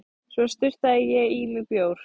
Svo sturtaði ég í mig bjór.